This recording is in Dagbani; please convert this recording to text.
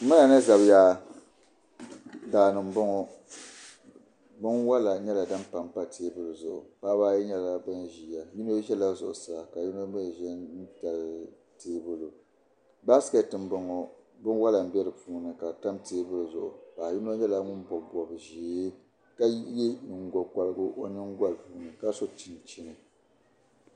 Daani n bɔŋɔ, binwala nyɛla din pan pa. teebuli zuɣu paɣibi ayi nyɛla ban ziya yinɔ zɛla zuɣu saa kayinɔ mi zɛ n dali teebuli basket m-bɔŋɔ binwala, n be dipuuni ka di tam teebuli zuɣu paɣi yinɔ. nyɛla ŋun bɔb zɛɛ ka ye nyingo korigu nyingolini. kaso chinchini